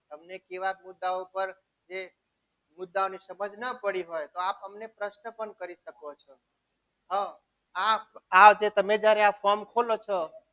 તમને કેવા મુદ્દાઓ પર જે મુદ્દાઓની સમજ ના પડી હોય તો આ તમે પ્રશ્ન પણ કરી શકો છો. હા આપ જ્યારે તમે આ form ખોલો છો.